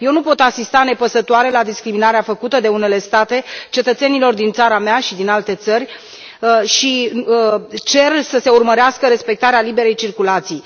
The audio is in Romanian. Eu nu pot asista nepăsătoare la discriminarea făcută de unele state față de cetățenii din țara mea și din alte țări și cer să se urmărească respectarea liberei circulații.